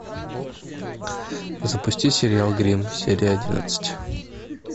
запусти сериал гримм серия одиннадцать